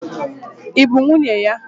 Ị bụ nwunye ya?